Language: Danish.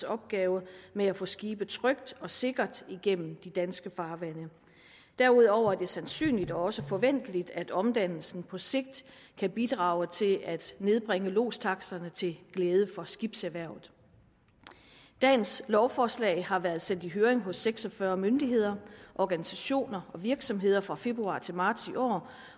opgave med at få skibe trygt og sikkert igennem de danske farvande derudover er det sandsynligt og også forventeligt at omdannelsen på sigt kan bidrage til at nedbringe lodstaksterne til glæde for skibserhvervet dagens lovforslag har været sendt i høring hos seks og fyrre myndigheder organisationer og virksomheder fra februar til marts i år